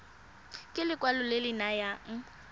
ke lekwalo le le nayang